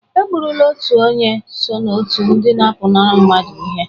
Egburula otu onye so n'otu ndị na-apụnara mmadụ ihe